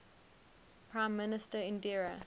prime minister indira